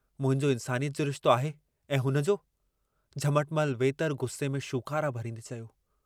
छा तोखे याद कोन्हे त अॼु खां वीह साल पहिरीं वाधूमल पंहिंजे दुकान अॻियां अची ॿारनि जे कपिड़नि जी पिड़ी लॻाई हुई।